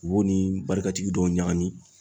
U b'o ni barikatigi dɔw ɲagami.